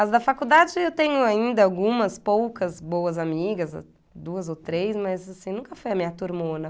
As da faculdade eu tenho ainda algumas poucas boas amigas, duas ou três, mas, assim, nunca foi a minha turmona.